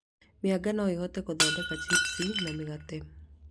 Mĩanga no ĩhuthĩke gũndokenda cipusi na mĩgate